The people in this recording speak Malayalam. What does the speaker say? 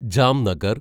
ജാംനഗർ